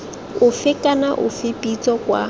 ofe kana ofe pitso kwa